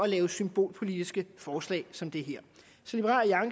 lave symbolpolitiske forslag som det her